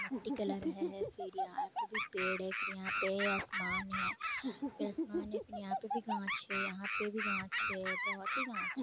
मट्टी कलर है फिर यहाँं पे भी पेड़ है फिर यहाँं पे आसमान है फिर आसमान है फिर यहाँं पे भी गाछ है यहाँं पे भी गाछ है बहुत ही गाछ --